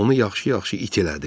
Onu yaxşı-yaxşı it elədi.